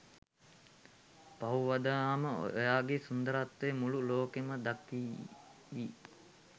පහුවදාම ඔයාගෙ සුන්දරත්වය මුළු ලෝකෙම දකීවි.